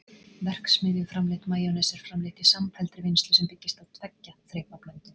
verksmiðjuframleitt majónes er framleitt í samfelldri vinnslu sem byggist á tveggja þrepa blöndun